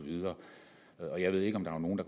og jeg ved ikke om der er nogen